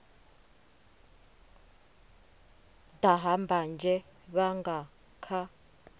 daha mbanzhe vha nga kha